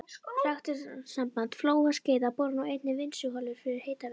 Ræktunarsamband Flóa og Skeiða borar nú einnig vinnsluholur fyrir hitaveitur.